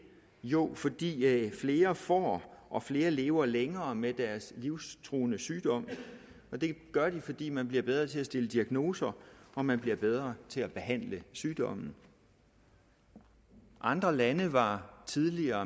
jo fordi flere får og flere lever længere med deres livstruende sygdom og det gør de fordi man bliver bedre til at stille diagnoser og man bliver bedre til at behandle sygdommen andre lande var tidligere